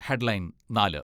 headline നാല്